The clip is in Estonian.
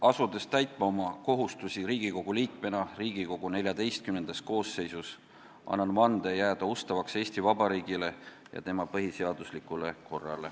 Asudes täitma oma kohustusi Riigikogu liikmena Riigikogu XIV koosseisus, annan vande jääda ustavaks Eesti Vabariigile ja tema põhiseaduslikule korrale.